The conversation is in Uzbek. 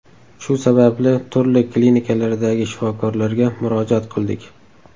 Shu sababli turli klinikalardagi shifokorlarga murojaat qildik.